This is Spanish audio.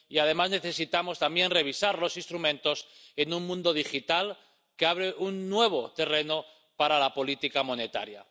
Y, además, necesitamos también revisar los instrumentos en un mundo digital que abre un nuevo terreno para la política monetaria.